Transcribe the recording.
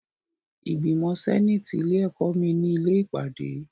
Ìgbìmọ̀ sẹ́nàtì ilé ẹ̀kọ́ mi ni ilé ìpàdé.